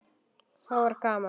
Þá var gaman.